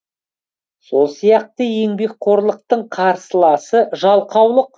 сол сияқты еңбекқорлықтың қарсыласы жалқаулық